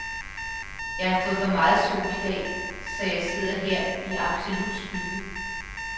Jeg har fået for meget sol i dag, så jeg sidder her i absolut skygge.